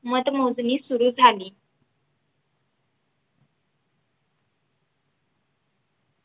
मतमोजणी सुरु झाली